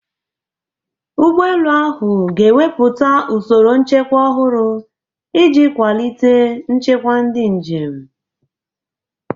Ụgbọ elu ahụ ga-ewepụta usoro nchekwa ọhụrụ iji kwalite nchekwa ndị njem.